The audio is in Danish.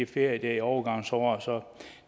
ferie i overgangsåret